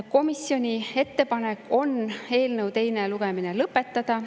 Komisjoni ettepanek on eelnõu teine lugemine lõpetada.